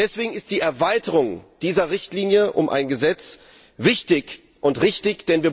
Deswegen ist die Erweitung dieser Richtlinie um ein Gesetz wichtig und richtig.